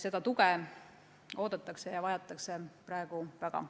Seda tuge oodatakse ja vajatakse praegu väga.